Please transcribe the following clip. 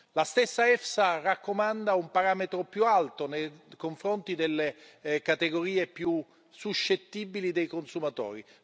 La stessa EFSA raccomanda un parametro più alto nei confronti delle categorie più suscettibili dei consumatori